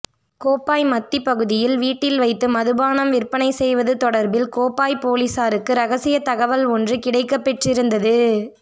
கோப்பாய் மத்தி பகுதியில் வீட்டில் வைத்து மதுபானம் விற்பனை செய்வது தொடர்பில் கோப்பாய் பொலிஸாருக்கு இரகசிய தகவல் ஒன்று கிடைக்கப்பெற்றிருந்தது